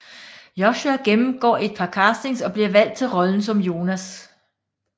Joshua gennemgår et par castings og bliver valgt til rollen som Jonas